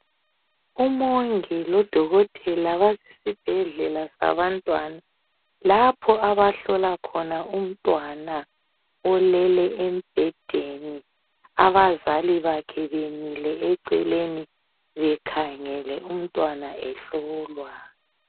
Umongi lodokotela basesibhedlela sabantwana , lapho abahlola khona umntwana olele embhedeni abazali bakhe bemile eceleni bekhangele umntwana ehlolwa